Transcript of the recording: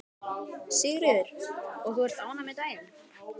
Sigríður: Og ert þú ánægð með daginn?